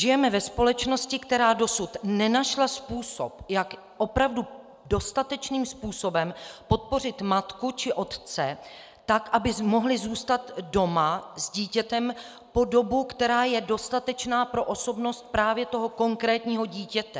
Žijeme ve společnosti, která dosud nenašla způsob, jak opravdu dostatečným způsobem podpořit matku či otce tak, aby mohli zůstat doma s dítětem po dobu, která je dostatečná pro osobnost právě toho konkrétního dítěte.